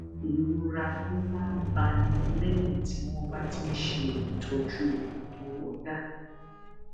ìrora tó máa ń báni léyìn tí wón bá ti ń ṣe ìtójú àtọwọdá